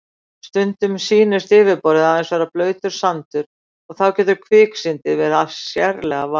Stundum sýnist yfirborðið aðeins vera blautur sandur og þá getur kviksyndið verið sérlega varasamt.